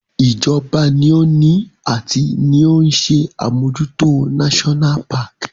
Ìjọba ni ó ni ati ni ó ń ṣe àmójútó náṣọ́nà paàkì